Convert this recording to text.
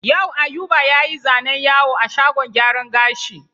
Yau Ayuba ya yi zanen yawo a shagon gyaran gashi.